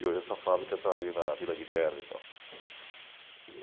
e o resto da fábrica está ali na Vila Guilherme e tal.